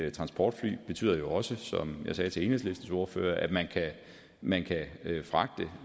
et transportfly betyder jo også som jeg sagde til enhedslistens ordfører at man kan fragte